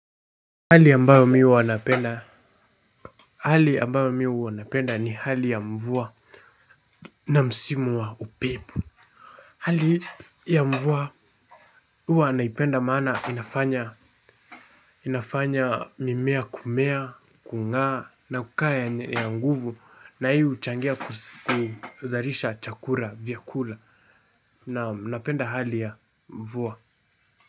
Hali ambayo mi huwa napenda ni hali ya mvua na msimu wa upepo. Hali ya mvua huwa naipenda maana inafanya mimea kumea, kung'aa na kukaa yenye nguvu na hii huchangia kuzalisha chakula vyakula naam napenda hali ya mvua.